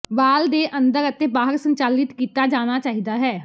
ਵਾਲ ਦੇ ਅੰਦਰ ਅਤੇ ਬਾਹਰ ਸੰਚਾਲਿਤ ਕੀਤਾ ਜਾਣਾ ਚਾਹੀਦਾ ਹੈ